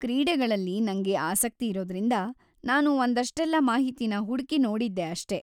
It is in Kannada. ಕ್ರೀಡೆಗಳಲ್ಲಿ ನಂಗೆ ಆಸಕ್ತಿಯಿರೋದ್ರಿಂದ ನಾನು ಒಂದಷ್ಟೆಲ್ಲ ಮಾಹಿತಿನ ಹುಡ್ಕಿ ನೋಡಿದ್ದೆ ಅಷ್ಟೇ.